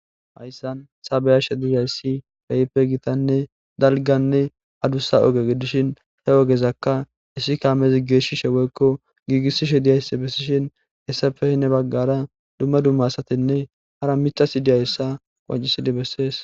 hayssan saabeyashe diiyayssi peype gitanne dalganne adussa oge gidishin he ogezakka issi kaamezi geeshshishe weykko giigissishe diyayssi bessishin hessa fehine baggara dumma dumma asatinne hara mixasi diyayssa qwancisidi bessees